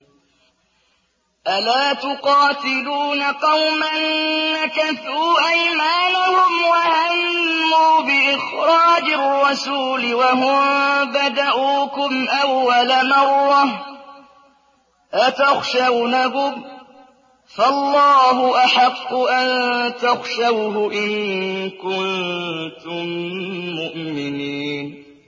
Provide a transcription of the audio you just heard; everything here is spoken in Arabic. أَلَا تُقَاتِلُونَ قَوْمًا نَّكَثُوا أَيْمَانَهُمْ وَهَمُّوا بِإِخْرَاجِ الرَّسُولِ وَهُم بَدَءُوكُمْ أَوَّلَ مَرَّةٍ ۚ أَتَخْشَوْنَهُمْ ۚ فَاللَّهُ أَحَقُّ أَن تَخْشَوْهُ إِن كُنتُم مُّؤْمِنِينَ